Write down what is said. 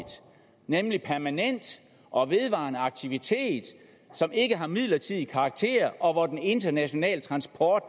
nemlig permanent og vedvarende aktivitet som ikke har midlertidig karakter og hvor den internationale transport